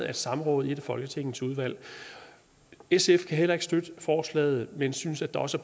af et samråd i et af folketingets udvalg sf kan heller ikke støtte forslaget men synes at der også